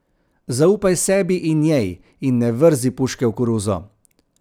Zaupaj sebi in njej in ne vrzi puške v koruzo.